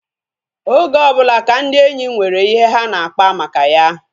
Oge ọbụla ka ndị enyi nwere ihe ha na-akpa maka ya